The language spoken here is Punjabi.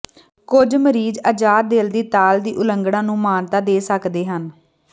ਕੁਝ ਮਰੀਜ਼ ਅਜਾਦ ਦਿਲ ਦੀ ਤਾਲ ਦੀ ਉਲੰਘਣਾ ਨੂੰ ਮਾਨਤਾ ਦੇ ਸਕਦੇ ਹਨ